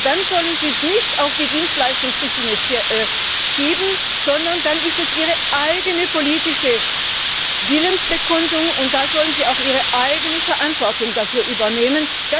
Aber dann sollen sie es nicht auf die Dienstleistungsrichtlinie schieben, sondern dann ist es ihre eigene politische Willensbekundung, und dafür sollen sie auch selbst die Verantwortung übernehmen.